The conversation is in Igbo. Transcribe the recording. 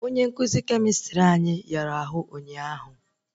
Onye nkụzi kemịstrị anyị yara ahụ ụnyaahụ